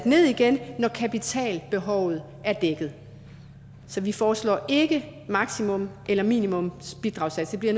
ned igen når kapitalbehovet er dækket så vi foreslår ikke maksimums eller minimumsbidragssatser det